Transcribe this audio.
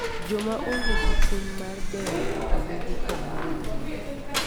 Joma onge gi chuny mar dewo wito yugi kamoro amora.